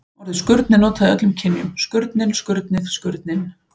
Orðið skurn er notað í öllum kynjum: skurnin, skurnið og skurninn.